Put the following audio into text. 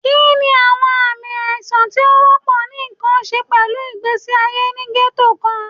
Kini awọn aami aisan ti o wọpọ ni nkan ṣe pẹlu igbesi aye ni ghetto kan?